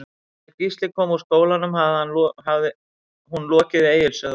Þegar Gísli kom úr skólanum hafði hún lokið við Egils sögu.